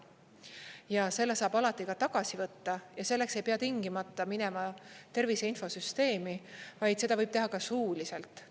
Ja selle saab alati ka tagasi võtta ja selleks ei pea tingimata minema Tervise Infosüsteemi, vaid seda võib teha ka suuliselt.